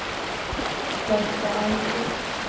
Berta Almqvist